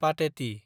पाटेति